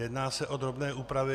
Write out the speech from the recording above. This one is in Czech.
Jedná se o drobné úpravy.